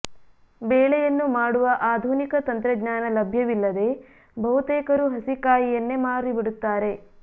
ಬೇಳೆಯನ್ನು ಮಾಡುವ ಆಧುನಿಕ ತಂತ್ರಜ್ಞಾನ ಲಭ್ಯವಿಲ್ಲದೆ ಬಹುತೇಕರು ಹಸಿ ಕಾಯಿಯನ್ನೇ ಮಾರಿಬಿಡುತ್ತಾರೆ